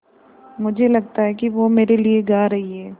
मुझे लगता है कि वो मेरे लिये गा रहीं हैँ